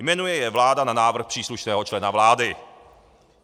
Jmenuje je vláda na návrh příslušného člena vlády.